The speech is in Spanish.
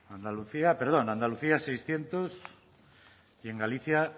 perdón andalucía seiscientos y en galicia